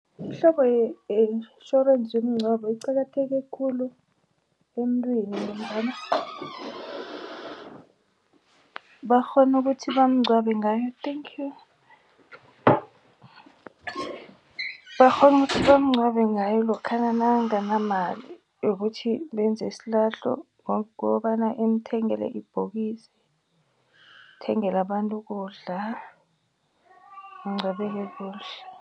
Imihlobo ye-intjhorensi yomngcwabo iqakatheke khulu emuntwini ngombana bakghona ukuthi bamngcwabe ngayo , bakghona ukuthi bamngcwabe ngayo lokhana nakanganamali yokuthi benze isilahlo ngokobana imthengele ibhokisi, ithengele abantu ukudla angcwabeke kuhle.